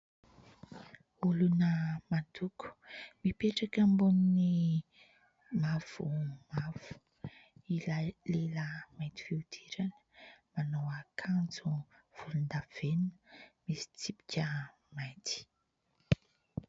Olona mandoko, mipetraka ambony mavomavo ilay lehilahy mainty fihodirana, manao akanjo volondavenona misy tsipika mainty.